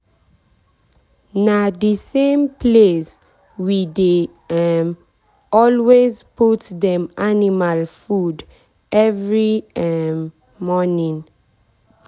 na the same place we dey um always put dem animal food every um morning.